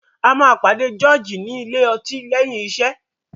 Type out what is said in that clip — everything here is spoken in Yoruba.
A má George ní Ilé-ọtí léyìn iṣé.